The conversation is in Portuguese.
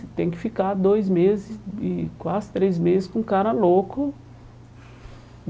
E tem que ficar dois meses, e quase três meses, com o cara louco.